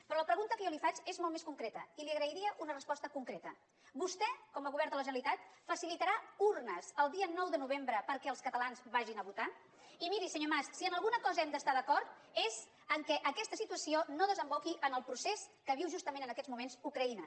però la pregunta que jo li faig és molt més concreta i li agrairia una resposta concreta vostè com a govern de la generalitat facilitarà urnes el dia nou de novembre perquè els catalans vagin a votar i miri senyor mas si amb alguna cosa hem d’estar d’acord és que aquesta situació no desemboqui en el procés que viu justament en aquests moments ucraïna